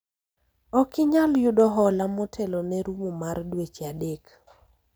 ok inyal yudo hola motelo ne rumo mar dweche adek